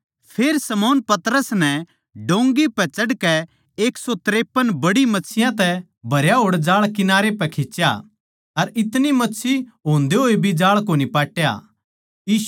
फेर शमौन पतरस नै डोंगी पै चढ़कै एक सौ तिरपन बड्डी मच्छियाँ तै भरया होड़ जाळ किनारे पै खिच्या अर इतनी मच्छी होंदे होए भी जाळ कोनी पाट्या